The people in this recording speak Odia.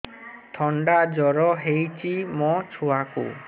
ଥଣ୍ଡା ଜର ହେଇଚି ମୋ ଛୁଆକୁ